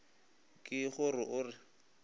ke go re o re